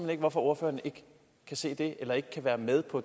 ikke hvorfor ordføreren ikke kan se det eller ikke kan være med på